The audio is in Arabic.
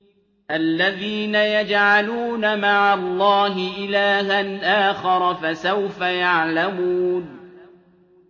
الَّذِينَ يَجْعَلُونَ مَعَ اللَّهِ إِلَٰهًا آخَرَ ۚ فَسَوْفَ يَعْلَمُونَ